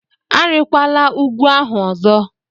Arịkwala ugwu ahụ ọzọ!